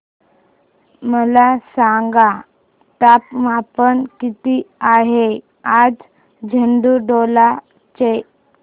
मला सांगा तापमान किती आहे आज झाडुटोला चे